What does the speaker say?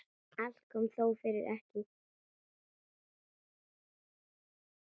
Allt kom þó fyrir ekki.